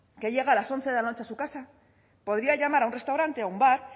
que llega a las once de la noche a su casa podría llamar a un restaurante a un bar